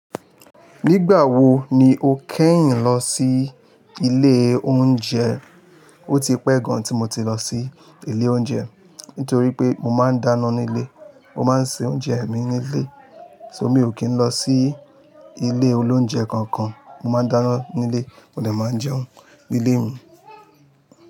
Nígbà wo ni o kẹ́yìn lọ sí ilé oúnjẹ? Oti pẹ́ gan tí mo ti lọ sí ilé oúnjẹ, nítorí pé mo máa ń dána nílé. Mo máa ń se oúnjẹ mi nílé, so mo ò kíń lọ sí ilé olóúnjẹ kankan. Mo máa ń dáná nílé, mo lè máa jẹun nílé mi.